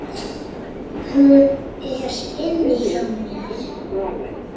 Hún er inni hjá mér.